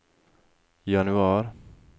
januar